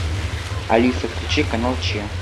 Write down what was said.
алиса включи канал че